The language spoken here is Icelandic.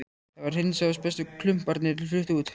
Það var hreinsað og bestu klumparnir fluttir út.